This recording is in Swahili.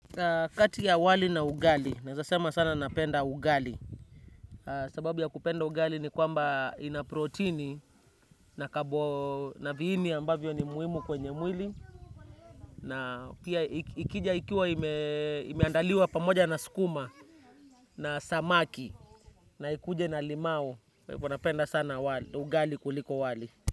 Kati ya wali na ugali, naezasema sana napenda ugali. Sababu ya kupenda ugali ni kwamba ina protini na viini ambavyo ni muhimu kwenye mwili. Na pia ikija ikiwa imeandaliwa pamoja na sukuma na samaki. Na ikuje na limau, kwa hivoom napenda sana ugali kuliko wali.